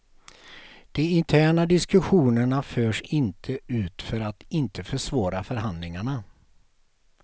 De interna diskussionerna förs inte ut för att inte försvåra förhandlingarna.